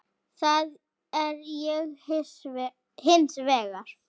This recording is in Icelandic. Það er ég hins vegar.